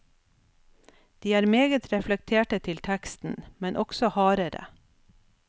De er meget reflekterte til teksten, men også hardere.